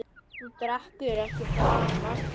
Þú drekkur ekki framar.